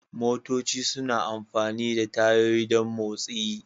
Motoci suna amfani da tayoyi don motsi.